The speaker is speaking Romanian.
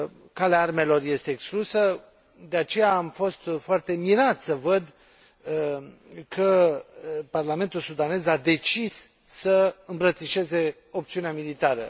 Calea armelor este exclusă, de aceea am fost foarte mirat să văd că Parlamentul sudanez a decis să îmbrățișeze opțiunea militară.